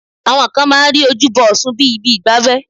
Àwọn kan máa ń rí ojúbọ ọ̀ṣun bíi ibi ìgbafẹ́